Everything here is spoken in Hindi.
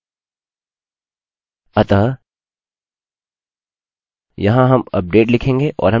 फिर हम set लिखेंगे और हमें एक विशिष्ट फील्ड चुनना होगा जिसमें ठीक करना है